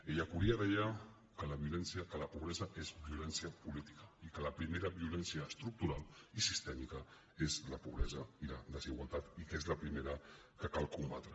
ellacuría deia que la pobresa és violència política i que la primera vio· lència estructural i sistèmica és la pobresa i la des· igualtat i que és la primera que cal combatre